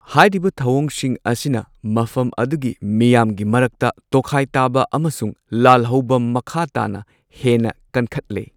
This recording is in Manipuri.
ꯍꯥꯏꯔꯤꯕ ꯊꯧꯑꯣꯡꯁꯤꯡ ꯑꯁꯤꯅ ꯃꯐꯝ ꯑꯗꯨꯒꯤ ꯃꯤꯌꯥꯝꯒꯤ ꯃꯔꯛꯇ ꯇꯣꯈꯥꯏ ꯇꯥꯕ ꯑꯃꯁꯨꯡ ꯂꯥꯜꯍꯧꯕ ꯃꯈꯥ ꯇꯥꯅ ꯍꯦꯟꯅ ꯀꯟꯈꯠꯂꯦ꯫